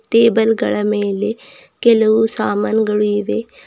Table ಗಳ ಮೇಲೆ ಕೆಲವು ಸಾಮಾನ್ಗಳು ಇವೆ.